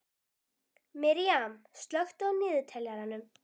Miriam, slökktu á niðurteljaranum.